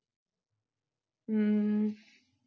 ਹਮ